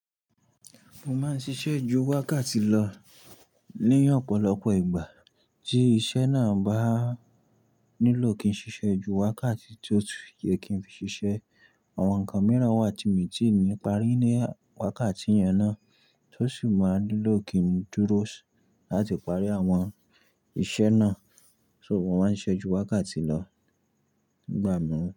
Mo máa ń ṣiṣẹ́ ju wákàtí lọ ní ọ̀pọ̀lọpọ̀ ìgbà, tí iṣẹ́ náà bá nílò kí n ṣiṣẹ́ ju wákàtí tó yẹ kí n fi ṣiṣẹ́. Àwọn nǹkan mìíràn wà tí mi ò tíì ní parí ní wákàtí yẹn ná, tó sì máa nílò kí n dúró sí láti parí àwọn iṣẹ́ náà. So mo máa ń ṣẹ́ ju wákàtí lọ ìgbà mìí.